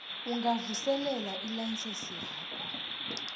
ungavuselela ilayisense yakho